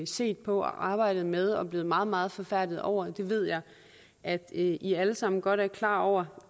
set på og arbejdet med og er blevet meget meget forfærdede over det ved jeg at i i alle sammen godt er klar over